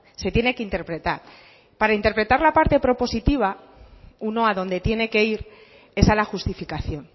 se tiene que interpretar para interpretar la parte propositiva uno a donde tiene que ir es a la justificación